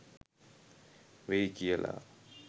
වෙයි කියලා